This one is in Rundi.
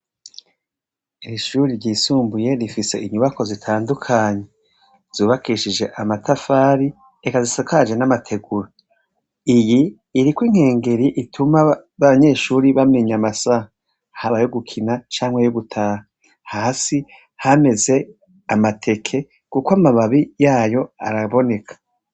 ishuri ryisumbuye rifise inyubako zitandukanye zubakishije amatafari eka zisakaje n'amateguro iyi iri ko inkengeri ituma b'abanyeshuri bamenye amasaha haba yo gukina cyangwa yo gutaha hasi hameze amateke kuko amababi yayo araboneka